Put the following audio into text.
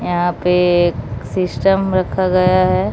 यहां पे सिस्टम रखा गया है।